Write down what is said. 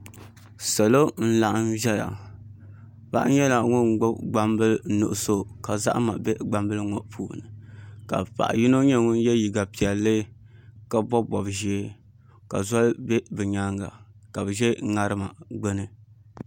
Salo n laɣam ʒɛya paɣa nyɛla ŋun gbubi gbambili nuɣso ka zahama bɛ gbambili ŋɔ puuni ka paɣa yino nyɛ ŋun yɛ liiga piɛlli ka bob bob ʒiɛ ka zoli ʒɛ bi nyaanga ka bi ʒɛ ŋarima gbuni